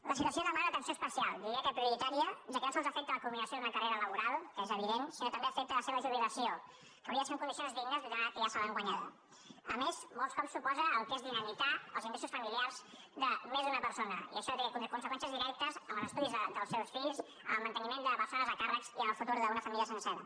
la situació demana una atenció especial diria que prioritària ja que no sols afecta la culminació d’una carrera laboral que és evident sinó que també afecta la seva jubilació que hauria de ser en condicions dignes atès que ja se l’han guanyada a més molts cops suposa el que és dinamitar els ingressos familiars de més d’una persona i això té conseqüències directes en els estudis dels seus fills en el manteniment de persones a càrrec i en el futur d’una família sencera